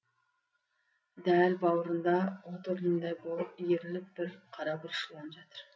дәл бауырында от орнындай болып иіріліп бір қарашұбар жылан жатыр